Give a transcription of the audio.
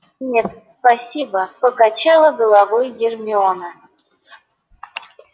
нет спасибо покачала головой гермиона